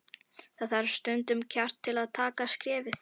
Það þarf stundum kjark til að taka skrefið.